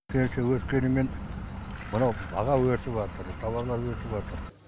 пенсия өскенімен мынау баға өсіватыр тауарлар өсіватыр